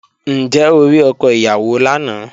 Ǹjẹ́ o rí ọkọ ìyàwó lánàá?